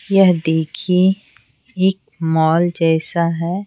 यह देखिए एक मॉल जैसा है।